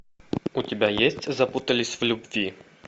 у тебя есть запутались в любви